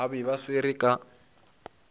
ba be ba swerwe ka